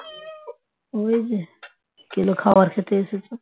ওই যে কেলো খাবার খেতে এসেছে